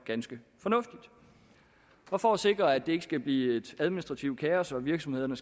ganske fornuftigt og for at sikre at det ikke skal blive et administrativt kaos og at virksomhederne